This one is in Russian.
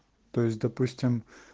то есть допустим